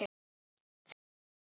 Þinn Finnur.